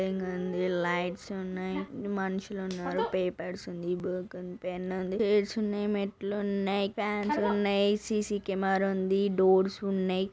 Lights ఉన్నాయ్. మనుషులున్నారు . Papers ఉంది. బుక్ ఉంది. పెన్ ఉంది. ఉన్నాయ్. మేట్లున్నాయ్. ఫాన్స్ ఉన్నాయ్. సి_సి కేమేరుంది. డోర్స్ ఉన్నాయ్.